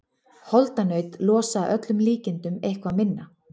Holdanaut losa að öllum líkindum eitthvað minna.